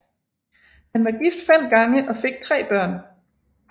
Han var gift fem gange og fik tre børn